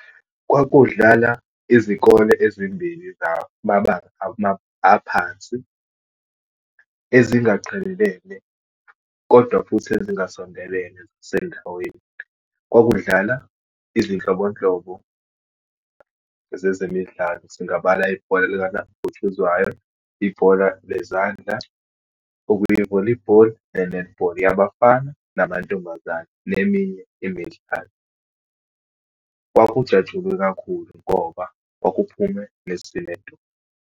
Kwakudlala izikole ezimbili zamabanga aphansi ezingaqhelelene kodwa futhi ezingasondelene zasendaweni. Kwakudlala izinhlobonhlobo zezemidlalo, singabala ibhola likanabhutshuzwayo, ibhola lezandla okuyi-volleyball, ne-netball yabafana namantombazane, neminye imidlalo. Kwakujatshulwe kakhulu ngoba kwakuphume nesi nedolo.